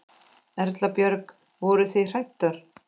Erla Björg: Voruð þið hræddar?